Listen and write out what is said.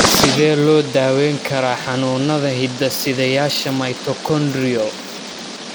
Sidee loo daweyn karaa xanuunada hidde-sideyaasha mitochondrial?